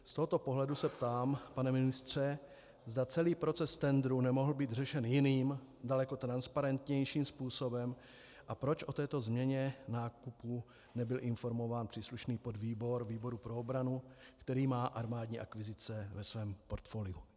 Z tohoto pohledu se ptám, pane ministře, zda celý proces tendru nemohl být řešen jiným, daleko transparentnějším způsobem a proč o této změně nákupu nebyl informován příslušný podvýbor výboru pro obranu, který má armádní akvizice ve svém portfoliu.